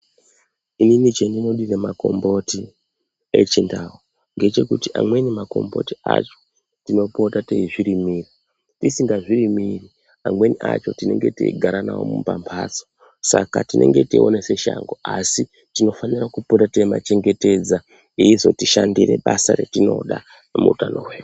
Inini chendinodire makomboti echindau ngechekuti amweni makomboti acho tinopota teizvirimira, tisingazvirimiri amweni acho tinenge teigara nawo mumambatso saka tinenge teiona seshango asi tinofanira kupota teimachengetedza eizotishandire basa retinoda muutano hwedu.